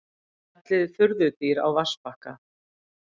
Fjallið furðudýr á vatnsbakka.